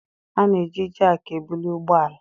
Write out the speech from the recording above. A na-eji jakị ebuli ụgbọ ala.